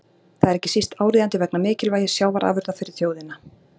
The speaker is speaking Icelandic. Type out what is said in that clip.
Það er ekki síst áríðandi vegna mikilvægis sjávarafurða fyrir þjóðina.